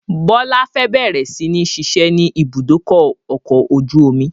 Bọlá fẹ́ bẹ̀rẹ̀ si ni ṣiṣẹ́ ni ibùdókọ̀ ọkọ̀ ojú omi